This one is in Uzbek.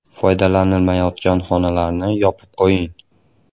Foydalanilmayotgan xonalarni yopib qo‘ying.